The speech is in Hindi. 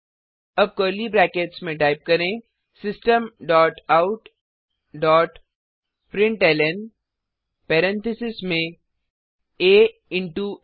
अब कर्ली ब्रैकेट्स में टाइप करें system dot out dot println parentheses में आ इंटो आ